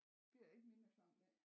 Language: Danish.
Bliver det ikke mindre klamt af